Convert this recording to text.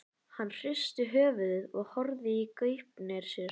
Hann hristi höfuðið og horfði í gaupnir sér.